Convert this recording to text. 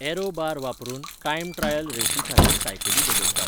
Arrow bar वापरून, time trial रेशीखातीर सायकली बदलतात.